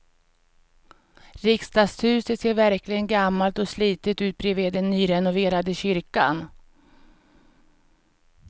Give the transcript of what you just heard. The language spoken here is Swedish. Riksdagshuset ser verkligen gammalt och slitet ut bredvid den nyrenoverade kyrkan.